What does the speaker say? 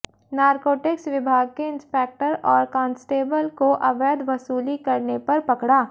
narcotics विभाग के inspector और कांस्टेबल को अवैध वसूली करने पर पकड़ा